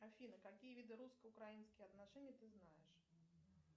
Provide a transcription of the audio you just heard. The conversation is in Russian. афина какие виды русско украинских отношений ты знаешь